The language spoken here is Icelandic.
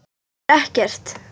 Þýðir ekkert.